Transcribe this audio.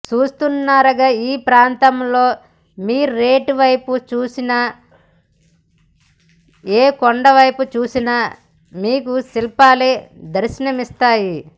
చూస్తున్నారుగా ఈ ప్రాంతంలో మీరెటువైపు చూసినా ఏ కొండపైన చూసినా మీకు శిల్పాలే దర్శనమిస్తాయి